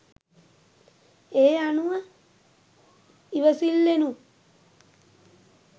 ඒ අනුව ඉවසිල්ලෙනුත්